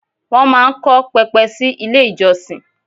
Wọ́n máa ń kọ́ pẹpẹ sí ilé ìjọsìn.